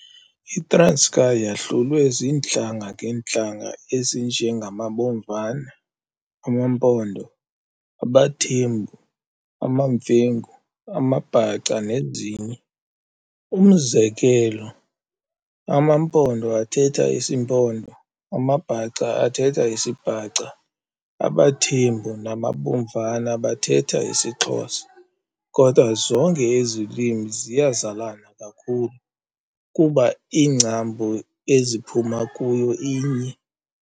ITranskei yahlulwe ziintlanga ngeentlanga ezinje ngamaBomvana, amaMpondo, abaThembu, amaMfengu, amaBhaca, nezinye. Umzekelo, amaMpondo athetha isiMpondo, amaBhaca athetha isiBhaca, abaThembu namaBomvana bathetha isiXhosa. Kodwa zonke ezi lwimi ziyazalana kakhulu, kuba ingcambu eziphuma kuyo inye.